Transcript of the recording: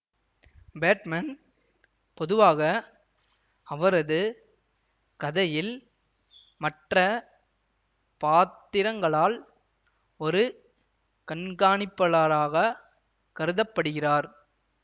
Batman பொதுவாக அவரது கதையில் மற்ற பாத்திரங்களால் ஒரு கண்காணிப்பளராகக் கருத படுகிறார்